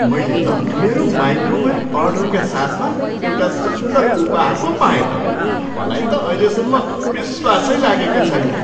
मैले त मेरो माइक्रोवेभ अर्डरका साथमा एउटा सुन्दर उपहार पो पाएँ त। मलाई त अहिलेसम्म विश्वासै लागेको छैन।